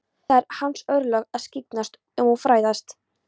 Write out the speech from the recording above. Það eru hans örlög að skyggnast um og fræðast.